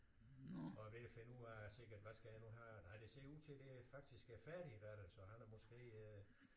Og er ved at finde ud af sikkert hvad skal jeg nu have nej det ser ud til det faktisk er færdigretter så han er måske øh